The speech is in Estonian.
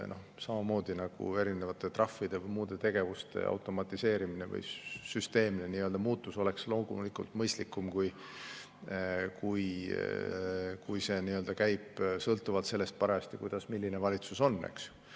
Samamoodi nagu erinevate trahvide ja muude tegevuste automatiseerimine või süsteemne muutmine oleks mõistlikum, kui see käiks sellest, milline valitsus parajasti on.